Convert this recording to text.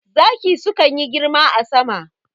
Zaki sukan yi girma a sama